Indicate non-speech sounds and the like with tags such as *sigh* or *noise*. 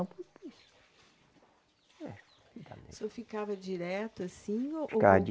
*unintelligible* O senhor ficava direto assim ou ou. Ficava